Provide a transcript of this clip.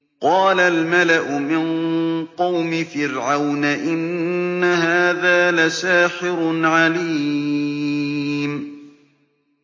قَالَ الْمَلَأُ مِن قَوْمِ فِرْعَوْنَ إِنَّ هَٰذَا لَسَاحِرٌ عَلِيمٌ